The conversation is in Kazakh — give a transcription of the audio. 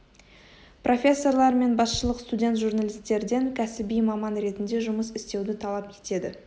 профессорлар мен басшылық студент журналистерден кәсіби маман ретінде жұмыс істеуді талап етеді